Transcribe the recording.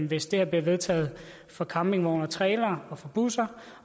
hvis det bliver vedtaget for campingvogne trailere og busser